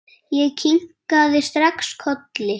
Ég kinkaði strax kolli.